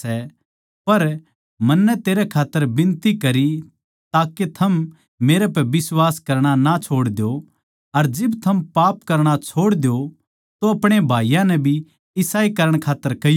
पर मन्नै तेरै खात्तर बिनती करी के थम मेरे पै बिश्वास करणा ना छोड़ दो अर जिब थम पाप करणा छोड़ दो तो अपणे भाईयाँ नै भी इसाए करण खात्तर कहियो